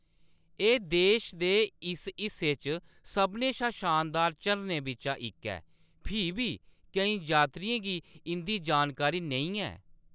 एह्‌‌ देश दे इस हिस्से च सभनें शा शानदार झरनें बिच्चा इक ऐ, फ्ही बी केईं यात्रियें गी इंʼदी जानकारी नेईं ऐ।